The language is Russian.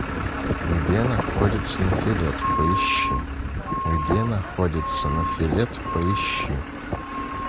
где находится нофелет поищи где находится нофелет поищи